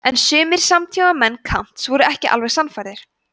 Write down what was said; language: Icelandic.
en sumir samtímamenn kants voru ekki alveg sannfærðir